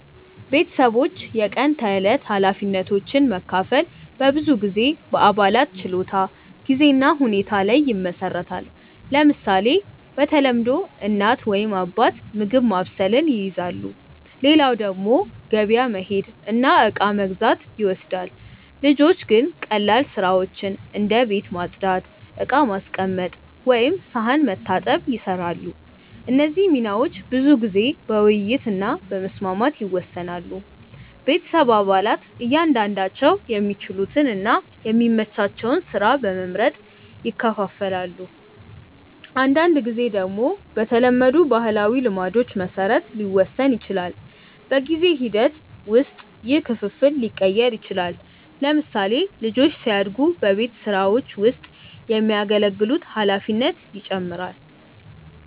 ቤተሰቦች የቀን ተዕለት ኃላፊነቶችን መካፈል በብዙ ጊዜ በአባላት ችሎታ፣ ጊዜ እና ሁኔታ ላይ ይመሰረታል። ለምሳሌ፣ በተለምዶ እናት ወይም አባት ምግብ ማብሰልን ይይዛሉ፣ ሌላው ደግሞ ገበያ መሄድ እና እቃ መግዛት ይወስዳል። ልጆች ግን ቀላል ስራዎችን እንደ ቤት ማጽዳት፣ ዕቃ ማስቀመጥ ወይም ሳህን መታጠብ ይሰራሉ። እነዚህ ሚናዎች ብዙ ጊዜ በውይይት እና በመስማማት ይወሰናሉ። ቤተሰብ አባላት እያንዳንዳቸው የሚችሉትን እና የሚመቻቸውን ስራ በመመርጥ ይካፈላሉ። አንዳንድ ጊዜ ደግሞ በተለመዱ ባህላዊ ልማዶች መሰረት ሊወሰን ይችላል። በጊዜ ሂደት ውስጥ ይህ ክፍፍል ሊቀየር ይችላል። ለምሳሌ፣ ልጆች ሲያድጉ በቤት ስራዎች ውስጥ የሚያገለግሉት ኃላፊነት ይጨምራል።